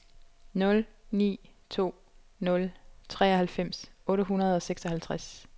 nul ni to nul treoghalvfems otte hundrede og seksoghalvtreds